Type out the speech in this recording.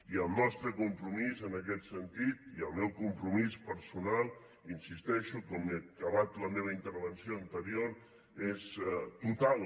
i el nostre compromís en aquest sentit i el meu compromís personal hi insisteixo com he dit al final de la meva intervenció anterior és total